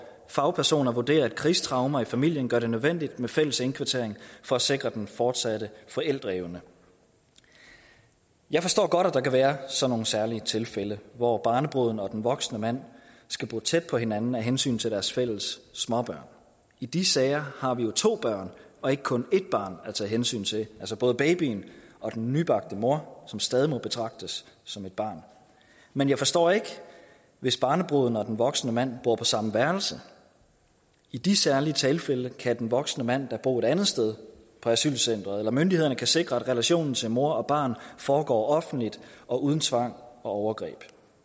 fagpersoner vurderer at krigstraumer i familien gør det nødvendigt med fælles indkvartering for at sikre den fortsatte forældreevne jeg forstår godt at der kan være sådan nogle særlige tilfælde hvor barnebruden og den voksne mand skal bo tæt på hinanden af hensyn til deres fælles småbørn i de sager har vi jo to børn og ikke kun et barn at tage hensyn til altså både babyen og den nybagte mor som stadig må betragtes som et barn men jeg forstår ikke hvis barnebruden og den voksne mand bo på samme værelse i de særlige tilfælde kan den voksne mand da bo et andet sted på asylcenteret eller myndighederne kan sikre at relationen til mor og barn foregår offentligt og uden tvang og overgreb